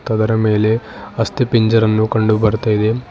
ಅದರ ಮೇಲೆ ಅಸ್ತಿಪಿಂಜರನ್ನು ಕಂಡು ಬರ್ತಾ ಇದೆ.